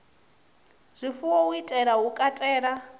zwifuwo u itela u katela